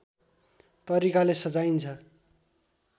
तरिकाले सजाइन्छ